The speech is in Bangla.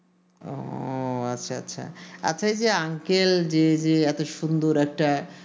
ও আচ্ছা আচ্ছা আচ্ছা এই যে uncle যে যে এত সুন্দর একটা